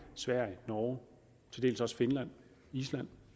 sverige norge og til dels også finland og island